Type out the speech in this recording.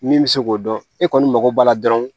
Min bɛ se k'o dɔn e kɔni mago b'a la dɔrɔn